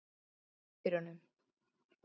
Sér og pappírunum.